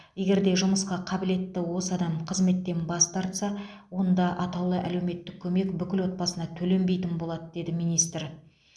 егер де жұмысқа қабілетті осы адам қызметтен бас тартса онда атаулы әлеуметтік көмек бүкіл отбасына төленбейтін болады деді министр